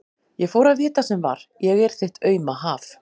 Ég fór að vita sem var: ég er þitt auma haf.